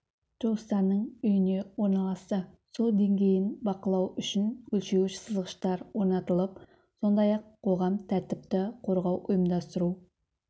туыстарының үйіне орналасты су деңгейін бақылау үшін өлшеуіш сызғыштар орнатылып сондай-ақ қоғамдық тәртіпті қорғау ұйымдастыру